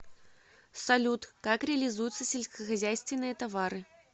салют как реализуются сельскохозяйственные товары